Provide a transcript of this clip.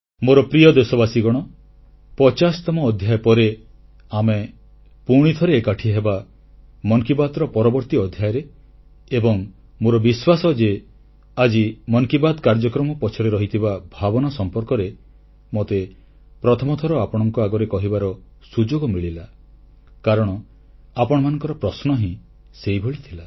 ମୋର ପ୍ରିୟ ଦେଶବାସୀଗଣ 50ତମ ଅଧ୍ୟାୟ ପରେ ଆମେ ପୁଣିଥରେ ଏକାଠି ହେବା ମନ କି ବାତ୍ର ପରବର୍ତ୍ତୀ ଅଧ୍ୟାୟରେ ଏବଂ ମୋର ବିଶ୍ୱାସ ଯେ ଆଜି ମନ୍ କି ବାତ୍ କାର୍ଯ୍ୟକ୍ରମ ପଛରେ ରହିଥିବା ଭାବନା ସମ୍ପର୍କରେ ମୋତେ ପ୍ରଥମ ଥର ଆପଣଙ୍କ ଆଗରେ କହିବାର ସୁଯୋଗ ମିଳିଲା କାରଣ ଆପଣମାନଙ୍କ ପ୍ରଶ୍ନ ହିଁ ସେହିଭଳି ଥିଲା